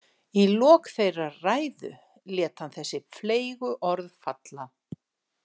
Í lok þeirrar ræðu lét hann þessi fleygu orð falla.